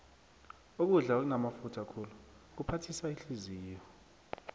ukudla okunamafutha khulu kuphathisa ihliziyo